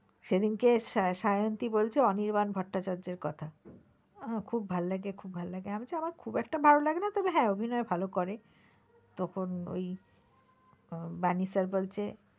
সেদিনকে সায়ন্তি বলছে অনির্বাণ ভট্টাচার্যের কথা খুব ভাল লাগে খুব ভাল লাগে আমি বলছি হ্যাঁ আমার খুব একটা ভালো লাগে না তবে হ্যাঁ অভিনয় ভালো করে তখন ওই আহ বানী sir বলছে,